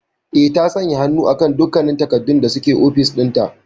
Eh, ta sanya hannu akan dukkannin takardun da suke ofis dinta.